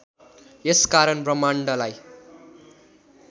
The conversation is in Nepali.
यस कारण ब्रह्माण्डलाई